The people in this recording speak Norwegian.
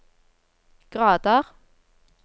grader